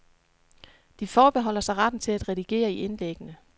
De forbeholder sig retten til at redigere i indlæggene.